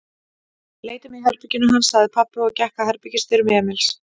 Leitum í herberginu hans, sagði pabbi og gekk að herbergisdyrum Emils.